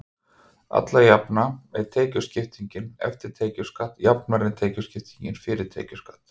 alla jafna er tekjuskiptingin „eftir tekjuskatt“ jafnari en tekjuskipting „fyrir skatt“